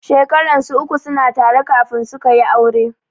Shekaran su uku suna tare kafin sukayi aure.